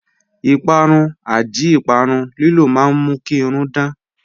Ìpàrún/àdí ìpàrún lílò mà n mú kí irùn dán